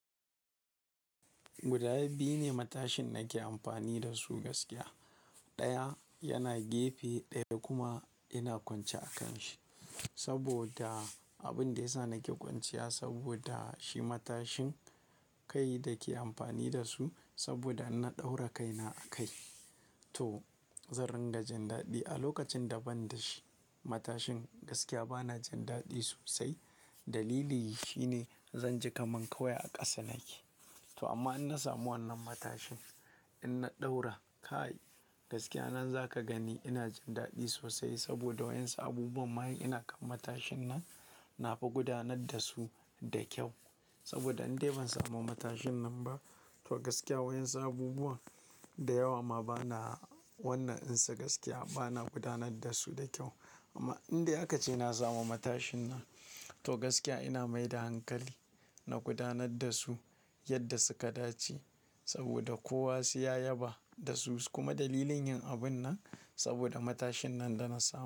Guda biyu ne matashin nake amfani da su gaskiya. Ɗaya yana gefe ɗaya kuma yana kwance a kan shi saboda abin da ya sa nake kwanciya saboda shi matashin kai da dake amfani da su saboda na ɗaura kaina a kai. To zan ringa jin daɗi a lokacin da ban da shi matashin gaskiya bana jin daɗi sosai. Dalili shi ne zan ji kaman kawai a ƙasa nake. To amma in na samu wannan matashin ina ɗaura kai gaskiya nan za ka gani ina jin daɗi sosai saboda wayinsa abubuwan ma in ina kan matashin nan na fi gudanar da su da kyau saboda indai ban samu matashin nan ba. To gaskiya wa'yinsa abubuwan da yawa ma bana wannan in sa gaskiya bana gudanar da su da kyau. Amma inda aka ce na samu matashin nan to gaskiya ina mai da hankali na gudanar da su yadda suka dace saboda kowa sai ya yaba da su. Kuma dalilin yin abun nan saboda matashin nan da na samu.